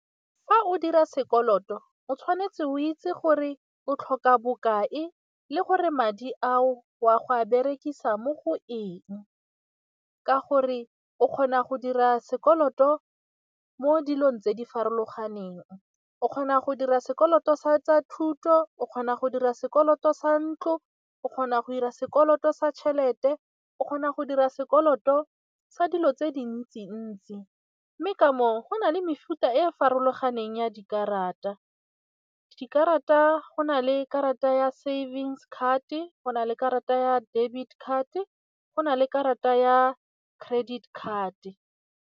Fa o dira sekoloto o tshwanetse o itse gore o tlhoka bokae le gore madi ao wa go a berekisa mo go eng, ka gore o kgona go dira sekoloto mo dilong tse di farologaneng, o kgona go dira sekoloto sa tsa thuto, o kgona go dira sekoloto sa ntloz o kgona go dira sekoloto sa tšhelete, o kgona go dira sekoloto sa dilo tse dintsi-ntsi mme ka moo go nale mefuta e farologaneng ya dikarata. Dikarata go na le karata ya savings card-e go na le karata ya debit card-e, go na le karata ya credit card.